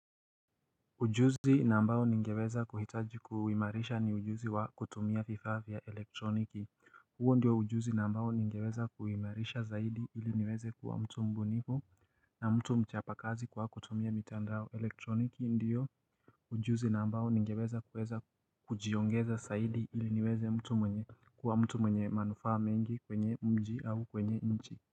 Ujuzi na ambao ningeweza kuhitaji kuhimarisha ni ujuzi wa kutumia vifaa vya elektroniki huo ndiyo ujuzi na ambao ningeweza kuhimarisha zaidi ili niweze kuwa mtu mbunifu na mtu mchapakazi kwa kutumia mitandao elektroniki ndiyo Ujuzi na ambao ningeweza kuweza kujiongeza zaidi ili niweze mtu mwenye kuwa mtu mwenye manufaa mengi kwenye mji au kwenye nchi.